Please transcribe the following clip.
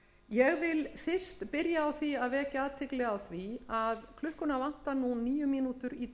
ég vil byrja á því að vekja athygli á því að klukkuna vantar nú níu mínútur í